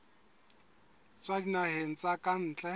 tswa dinaheng tsa ka ntle